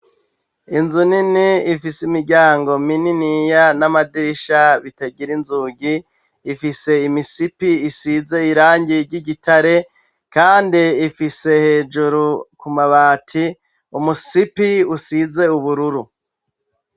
Inzu nini ifise imiryango mininiya n'amadirisha bitagira inzugi, ifise imisipi isize irangi ry'igitare, kandi ifise hejuru ku mabati umusipi usize ubururu.